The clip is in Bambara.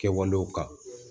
Kɛwalew kan